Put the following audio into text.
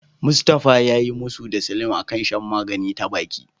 Mustafa yayi musu da Salim a kan shan magani ta baki.